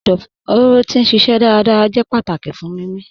Ẹdọfóró ti n ṣiṣẹ dárádárá jẹ̀ pátákì fún mímí.